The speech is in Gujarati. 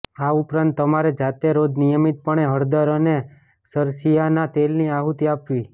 આ ઉપરાંત તમારે જાતે રોજ નિયમિતપણે હળદર અને સરસિયાના તેલની આહુતિ આપવી